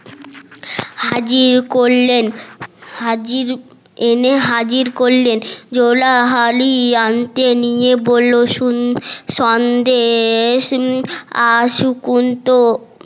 হাজির করলেন হাজির এনে হাজির করলেন জোলা হাড়ি হাতে নিয়ে বললো শুন সন্দেশ আর